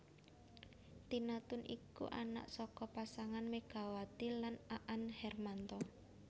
Tina Toon iku anak saka pasangan Megawati lan Aan Hermanto